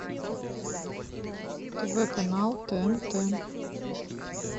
тв канал тнт